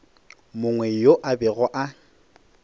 mongwe yo a bego a